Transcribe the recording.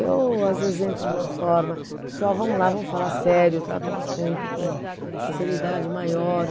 Eu, às vezes, entro de uma forma. Pessoal, vamos lá, vamos falar sério, eu trato um assunto com uma seriedade maior.